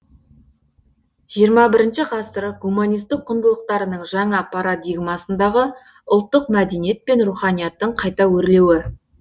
жиырма бірінші ғасыр гуманистік құндылықтарының жаңа парадигмасындағы ұлттық мәдениет пен руханияттың қайта өрлеуі